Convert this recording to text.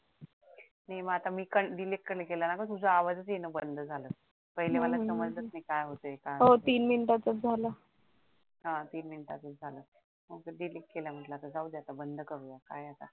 हा मी इथून delete केला ना मग तुझा आवाजच येन बंद झाल पाहिलं मला समजलंच नाही काय होतय हा तीन मिनिटांचाच झालं